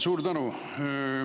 Suur tänu!